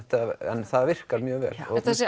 en það virkar mjög vel